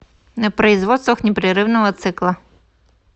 на производствах непрерывного цикла